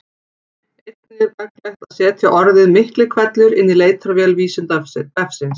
Einnig er gagnlegt að setja orðið Miklihvellur inn í leitarvél Vísindavefsins.